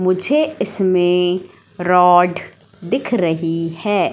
मुझे इसमें रॉड दिख रही है।